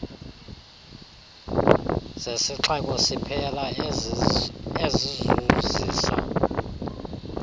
zesixeko siphela ezizuzisa